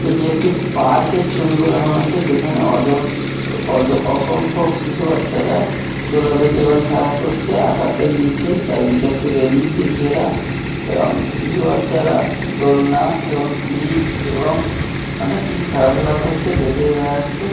এটি একটি পার্কের ছবি বলে মনে হচ্ছে যেখানে অজস-স অজ অসংখ্য শিশু বাচ্চারা দোলাদুলি এবং খেলা করছে। আকাশের নীচে চারিদিকে একটা রেলিং দিয়ে ঘেরা এবং শিশু বাচ্চারা দোলনা এবং স্লিপ এবং অনেক কিছু খেলাধুলা করছে। দেখেই বোঝা যাচ্ছে--